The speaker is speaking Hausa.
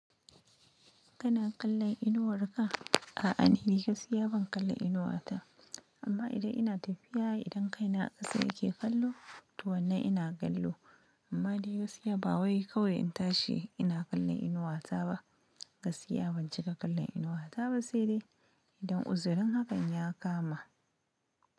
Kana kallon inuwar ka? A'a ni gaskiya ban kalla inuwata. Amma idan ina tafiya idan kaina a ƙasa yake kallo, to wannan ina kallo. Amma dai gasiya ba wai kawai in tashi ina kallon inuwata ba. Gasiya ban cika kallon inuwata ba sai dai idan uzurin hakan ya kama.